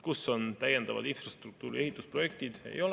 Kus on täiendavad infrastruktuuri ehitusprojektid?